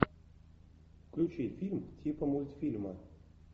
включи фильм типа мультфильма